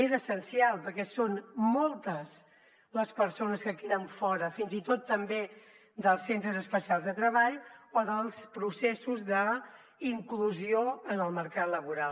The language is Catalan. és essencial perquè són moltes les persones que queden fora fins i tot també dels centres especials de treball o dels processos d’inclusió en el mercat laboral